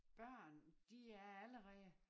Børn de er allerede